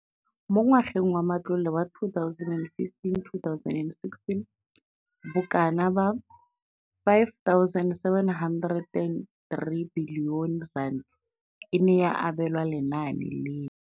Mo ngwageng wa matlole wa 2015 2016, bokanaka R5 703 bilione e ne ya abelwa lenaane leno.